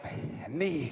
Nii.